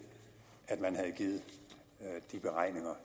at man havde givet de beregninger